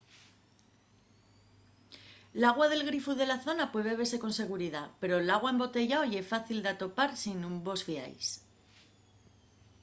l’agua del grifu de la zona puede bebese con seguridá pero l’agua embotellao ye fácil d’atopar si nun vos fiais